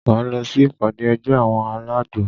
Máa lọ sí ìpàdé ẹgbẹ́ àwọn alágbo.